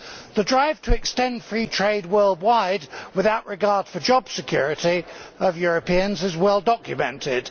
The drive to extend free trade worldwide without regard for the job security of Europeans is well documented.